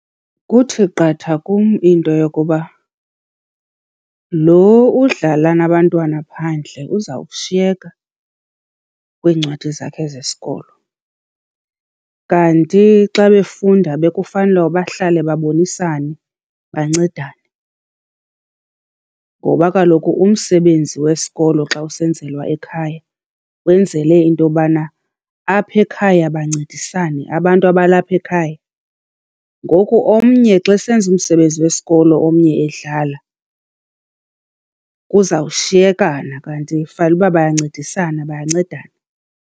Kuthi qatha kum into yokuba lo udlala nabantwana phandle uzawushiyeka kwiincwadi zakhe zesikolo. Kanti xa befunda bekufanele uba bahlale babonisane, bancedane. Ngoba kaloku umsebenzi wesikolo xa usenzelwa ekhaya wenzele into yobana apha ekhaya bancedisane abantu abalapha ekhaya. Ngoku omnye xa esenza umsebenzi wesikolo omnye edlala kuzawushiyekana, kanti fanele uba bayancedisana, bayancedana.